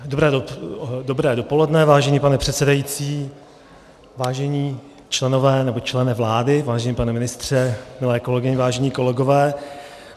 Dobré dopoledne, vážený pane předsedající, vážení členové, nebo člene vlády, vážený pane ministře, milé kolegyně, vážení kolegové.